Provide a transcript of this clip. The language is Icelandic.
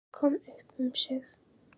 Kom upp um sig.